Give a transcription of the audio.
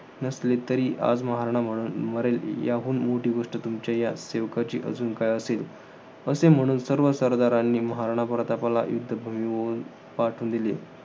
नसले तरी आज महाराणा म्हणून मरेल, याहून मोठी गोष्ट तुमच्या या सेवकाची अजून काय असेल? असे म्हणून सर्वांनी मिळून महाराणा प्रतापला युद्धभूमीवरून पाठवून दिले.